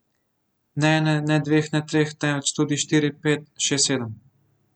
Ne ene, ne dveh, ne treh, temveč tudi štiri, pet, šest, sedem.